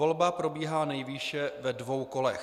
Volba probíhá nejvýše ve dvou kolech.